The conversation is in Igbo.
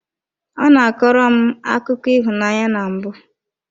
Ọ na-akọrọ m akụkọ akụkọ ịhụnanya na mbụ.